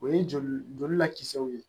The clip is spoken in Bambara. O ye joli joli lakisɛw ye